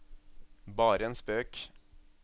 bare en spøk